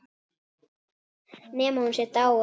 Nema hún sé dáin.